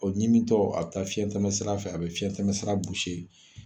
O ɲimi tɔ a be taa fiɲɛ tɛmɛ sira fɛ , a be fiɲɛtɛmɛ sira